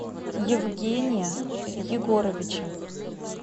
евгения егоровича